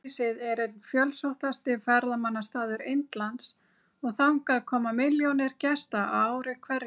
Grafhýsið er einn fjölsóttasti ferðamannastaður Indlands og þangað koma milljónir gesta á ári hverju.